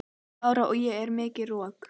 Lára: Já og er mikið rok?